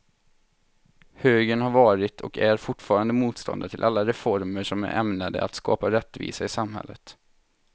Högern har varit och är fortfarande motståndare till alla reformer som är ämnade att skapa rättvisa i samhället.